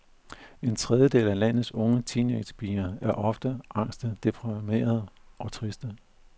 En tredjedel af landets unge teenagepiger er ofte angste, deprimerede og triste.